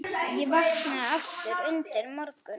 Ég vaknaði aftur undir morgun.